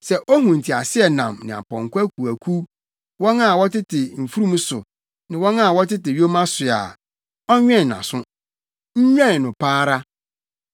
Sɛ ohu nteaseɛnam ne apɔnkɔ akuwakuw, wɔn a wɔtete mfurum so ne wɔn a wɔtete yoma so a, ɔnwɛn nʼaso, nwɛn no pa ara.”